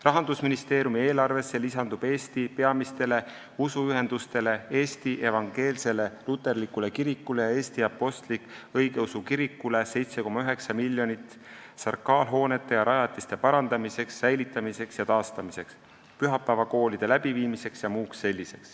Rahandusministeeriumi eelarvesse lisandub Eesti peamistele usuühendustele Eesti Evangeelsele Luterlikule Kirikule ja Eesti Apostlik-Õigeusu Kirikule 7,9 miljonit sakraalhoonete ja -rajatiste parandamiseks, säilitamiseks ja taastamiseks, pühapäevakoolideks jms.